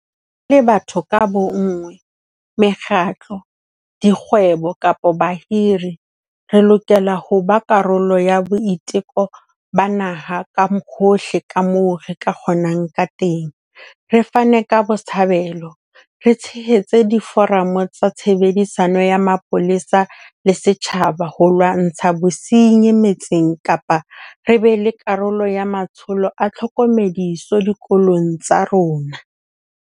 Re le batho ka bonngwe, mekgatlo, dikgwebo kapa bahiri, re lokela ho ba karolo ya boiteko ba naha ka hohle kamoo re ka kgonang kateng, re fane ka botshabelo, re tshehetse diforamo tsa tshebedisano ya mapolesa le setjhaba ho lwantsha bosenyi metseng kapa re be karolo ya matsholo a tlhokomediso dikolong tsa rona.